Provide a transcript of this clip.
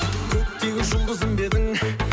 көктегі жұлдызым ба едің